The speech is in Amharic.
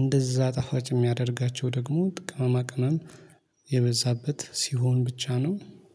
እንደዛ ጣፋጭ የሚያደርጋቸው ደግሞ ቅማማ ቅማም የበዛበት ሲሆን ብቻ ነው